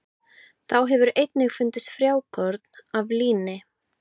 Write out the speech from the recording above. Þá hefur einnig fundist frjókorn af líni.